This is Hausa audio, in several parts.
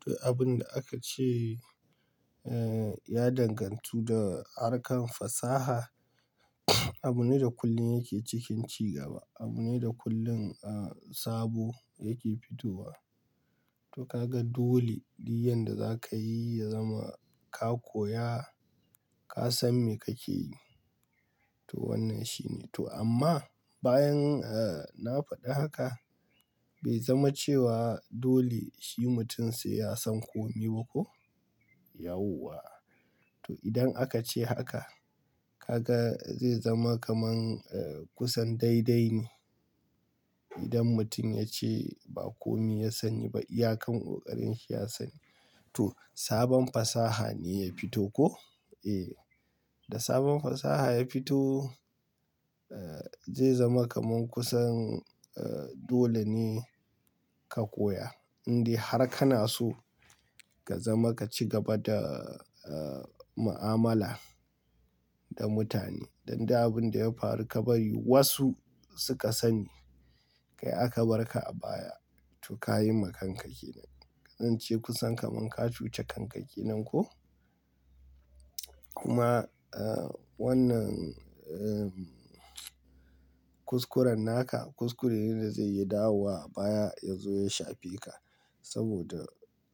To abin da aka ce, eh, ya dangantu da harkar fasaha. Abune da kullum yake cikin cigaba. Abune da kullum, ah, sabo yake fitowa. To kaga dole, duk yadda za ka yi, ya zama ka koya, ka san me kake yi. To wannan shine to amma bayan, eh, na faɗi haka bai zama cewa dole shi mutum sai ya san komi ba ko? Yauwa. To idan aka ce haka, ka ga zai zama kaman, eh, kusan daidai ne. Idan mutum ya ce ba komi ya sani ba, iyakan ƙoƙarinsa ya sani. To sabon fasaha ne ya fito ko? Eh. Da sabon fasaha ya fito, eh, zai zama kaman kusan, eh, dole ne ka koya. Indai har kana so ka zama ka cigaba da, eh, mu'amala da mutane. Dan da abin da ya faru ka bari wasu suka sani, kai aka barka a baya. To ka yi ma kanka ke nan. Zan ce kusan kaman ka cuce kanka ke nan ko? Kuma, eh, wannan, eh, kuskuren naka kuskure ne da zai yi dawuwa baya ya zo ya shafe ka. Saboda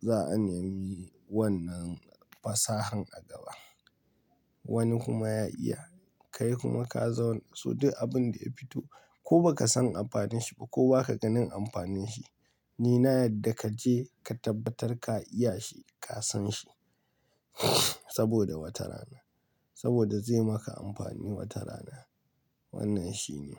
za'a aniyayi wannan fasahan a gaba. Wani kuma ya iya, kai kuma ka zauna. So duk abin da ya fito ko baka san amfanin shi ba ko baka ganin amfanin shi, ni na yadda kaje ka tabbatar ka iya shi, ka san shi. Saboda wata rana. Saboda zai maka amfani wata rana. Wannan shine.